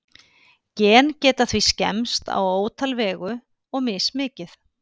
Gen geta því skemmst á ótal vegu, og mismikið.